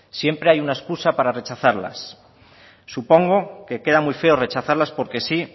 siempre hay alguna excusa para rechazarlas supongo que queda muy feo rechazarlas porque sí